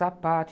Sapato.